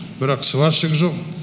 бірақ сварщик жоқ